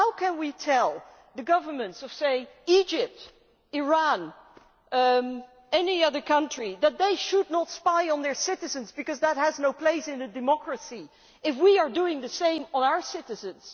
How can we tell the governments of, say, Egypt or Iran or any other country that they should not spy on their citizens because that has no place in a democracy, if we are doing the same to our citizens?